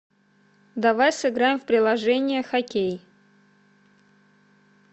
давай сыграем в приложение хоккей